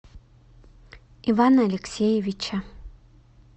ивана алексеевича